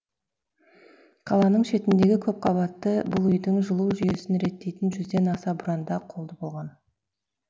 қаланың шетіндегі көпқабатты бұл үйдің жылу жүйесін реттейтін жүзден аса бұранда қолды болған